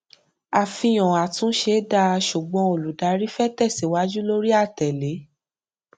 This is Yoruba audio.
àfihàn àtúnṣe dáa ṣùgbọn olùdarí fẹ tẹsíwájú lórí àtẹle